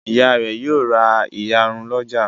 Ìyá rẹ̀ yóò ra ìyarun lọ́jà.